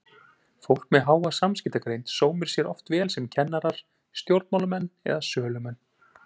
Fólk með háa samskiptagreind sómir sér oft vel sem kennarar, stjórnmálamenn eða sölumenn.